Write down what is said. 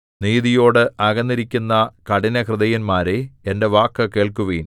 നീതിയോട് അകന്നിരിക്കുന്ന കഠിനഹൃദയന്മാരേ എന്റെ വാക്കു കേൾക്കുവിൻ